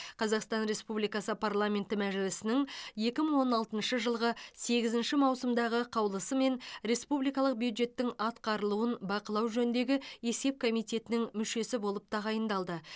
қазақстан республикасы парламенті мәжілісінің екі мың он алтыншы жылғы сегізінші маусымдағы қаулысымен республикалық бюджеттің атқарылуын бақылау жөніндегі есеп комитетінің мүшесі болып тағайындалды